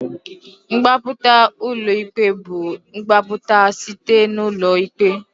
Mgbapụta ulọ ikpe bu igbapụta site n'ụlọ ikpe.